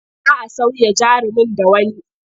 Za a sauya jarumin da wani.